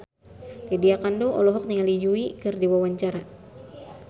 Lydia Kandou olohok ningali Yui keur diwawancara